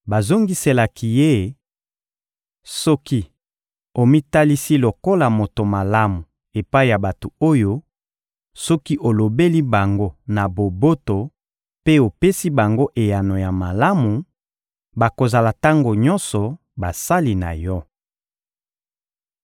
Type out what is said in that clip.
Bazongiselaki ye: — Soki omitalisi lokola moto malamu epai ya bato oyo, soki olobeli bango na boboto mpe opesi bango eyano ya malamu, bakozala tango nyonso basali na yo.